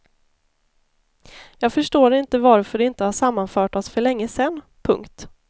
Jag förstår inte varför du inte har sammanfört oss för länge sedan. punkt